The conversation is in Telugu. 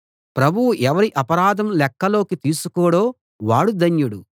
ప్రభువు ఎవరి అపరాధం లెక్కలోకి తీసుకోడో వాడు ధన్యుడు